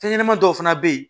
Fɛn ɲɛnɛmani dɔw fana bɛ ye